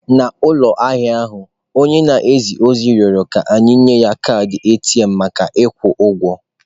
N'ụlọ ahịa ahụ, onye na-eje ozi rịọrọ ka e nye anyị kaadị ATM maka ịkwụ ụgwọ.